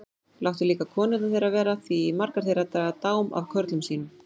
Láttu líka konurnar þeirra vera því margar þeirra draga dám af körlum sínum.